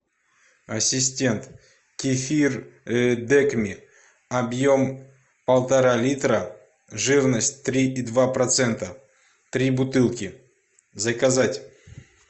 ассистент кефир декми объем полтора литра жирность три и два процента три бутылки заказать